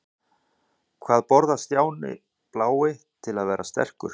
Hvað borðar Stjáni blái til að verða sterkur?